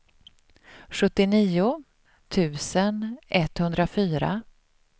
sjuttionio tusen etthundrafyra